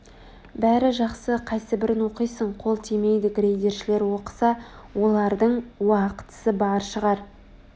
бәрі жақсы қайсыбірін оқисың Қол тимейді грейдершілер оқыса олардың уақытысы бар шығар